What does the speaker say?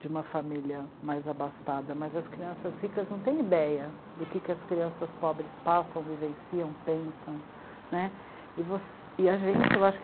de uma família mais abastada, mas as crianças ricas não têm ideia do que as crianças pobres passam, vivenciam, pensam, né. E a gente